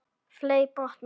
Fley brotna.